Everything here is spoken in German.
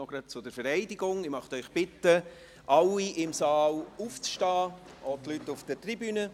Ich möchte alle im Saal bitten, aufzustehen, auch die Leute auf der Tribüne.